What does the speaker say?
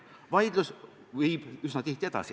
Vaidlus viib üsna tihti edasi.